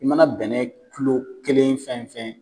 I mana bɛn n'a ye kilo kelen fɛn fɛn.